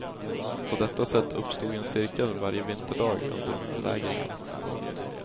På detta sätt uppstod en cirkel varje vinterdag under belägringen. punkt